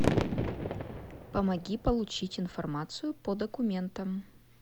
помоги получить информацию по документам